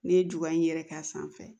Ne ye ju in yɛrɛ k'a sanfɛ